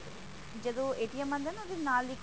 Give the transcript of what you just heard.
ਜਦੋਂ ਆਂਦਾ ਹੈਂ ਨਾ ਉਹਦੇ ਨਾਲ ਹੀ